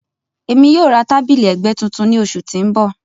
Emi yoo ra tabili ẹgbẹ tuntun ni oṣu ti n bọ.